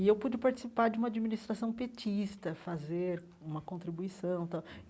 E eu pude participar de uma administração petista, fazer uma contribuição tal.